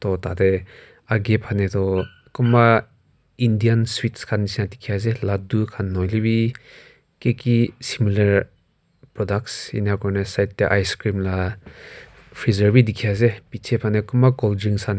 to tate akaae fanae toh kunba Indian sweets khan nishina dikhiase ladu khan nahoi lae bi kiki similar product ennakura na side tae icecream la freezer bidikhiase bichae fanae kunba colddrinks khan.